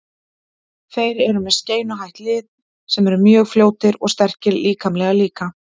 Þeir eru með skeinuhætt lið sem eru mjög fljótir og sterkir líkamlega líka.